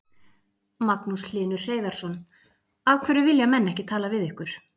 Magnús Hlynur Hreiðarsson: Af hverju vilja menn ekki tala við ykkur?